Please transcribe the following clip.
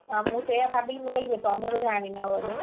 ଆଉ ମୁଁ ସେୟା ଭାବିଲି ମୁଁ କହିଲି ତମେ ବୋଧେ ଆଣିନ ବୋଧେ, ଆଉ,